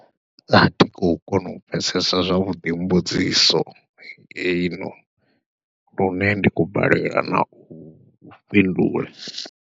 Athi khou kona u pfhesesa zwavhuḓi mbudziso ino, lune ndi khou balelwa nau fhindula.